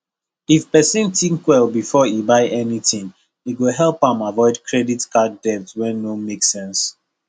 if person think well before e buy anything e go help am avoid credit card debt wey no make sense